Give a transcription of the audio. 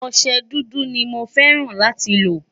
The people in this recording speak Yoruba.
ọsẹ dúdú ní mọ fẹràn láti lo